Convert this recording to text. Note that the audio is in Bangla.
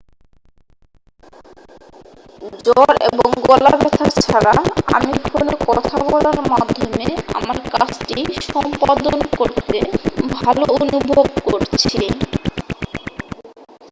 """জ্বর এবং গলা ব্যথা ছাড়া আমি ফোনে কথা বলার মাধ্যমে আমার কাজটি সম্পাদন করতে ভালো অনুভব করছি।